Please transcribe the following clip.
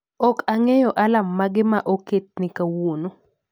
Ok ang'eyo alarm mage ma oket ne kawuono